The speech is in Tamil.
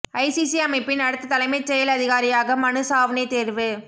ஐசிசி அமைப்பின் அடுத்த தலைமைச் செயல் அதிகாரியாக மனு சாவ்னே தேர்வு